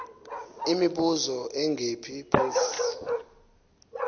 imibuzo engephi phofu